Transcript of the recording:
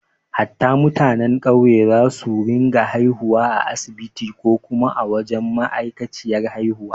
Hatta mutanen ƙauye za su rinka haihuwa a asibiti ko kuma a wajen ma’aikaciyar haihuwa